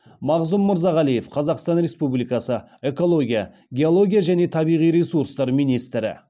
мағзұм мырзағалиев қазақстан республикасы экология геология және табиғи ресурстар министрі